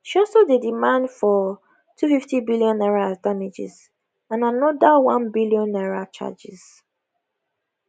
she also dey demand for n250 billion as damages and anoda n1 billion charges